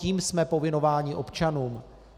Tím jsme povinováni občanům.